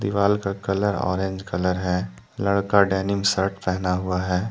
दीवाल का colour orange colour है लड़का डेनिम शर्ट पहना हुआ है।